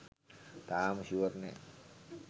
තාම ෂුවර් නෑ